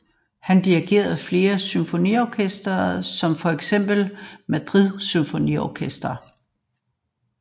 Han dirigerede flere symfoniorkestre som feks Madrid Symfoniorkester